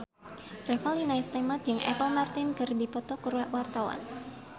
Revalina S. Temat jeung Apple Martin keur dipoto ku wartawan